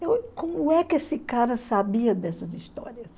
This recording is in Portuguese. Como é que esse cara sabia dessas histórias?